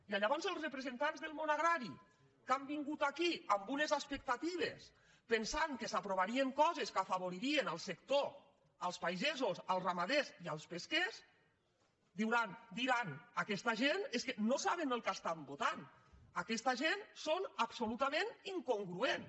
i llavors els repre·sentants del món agrari que han vingut aquí amb unes expectatives pensant que s’aprovarien coses que afa·voririen el sector els pagesos els ramaders i els pes·quers diran aquesta gent és que no saben el que estan votant aquesta gent són absolutament incongru·ents